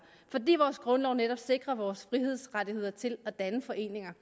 fordi vores grundlov netop sikrer vores frihedsrettigheder til at danne foreninger